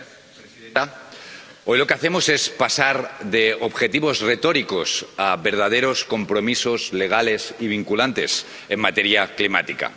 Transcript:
Señora presidenta, hoy lo que hacemos es pasar de objetivos retóricos a verdaderos compromisos legales y vinculantes en materia climática.